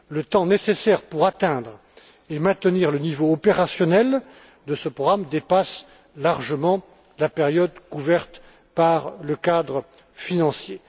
Le temps nécessaire pour atteindre et maintenir le niveau opérationnel de ce programme dépasse largement la période couverte par le cadre financier.